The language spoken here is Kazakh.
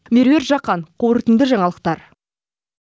меруерт жақан қорытынды жаңалықтар